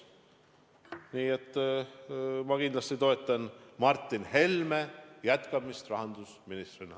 Nii et ma kindlasti toetan Martin Helme jätkamist rahandusministrina.